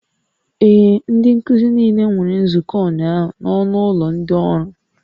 Ee, ndị nkuzi niile nwere nzukọ ụnyaahụ na ọnụ ụlọ ndị ọrụ